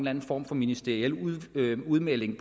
anden form for ministeriel udmelding